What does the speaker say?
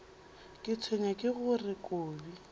ke tshwenywa ke gore kobi